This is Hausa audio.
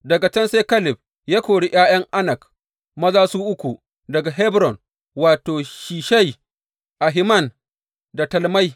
Daga can sai Kaleb ya kori ’ya’yan Anak, maza su uku daga Hebron, wato, Sheshai, Ahiman da Talmai.